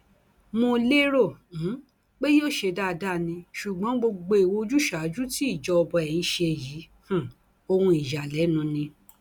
mo lérò um pé yóò ṣe dáadáa ni ṣùgbọn gbogbo ìwà ojúsàájú tí ìjọba ẹ ń ṣe yìí um ohun ìyàlẹnu ni